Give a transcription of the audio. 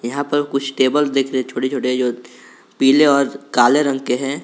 यहां पर कुछ टेबल दिख रहे है छोटे छोटे जो पीले और काले रंग के है।